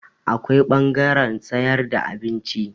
Akwai ɓangaren sayar da abinci.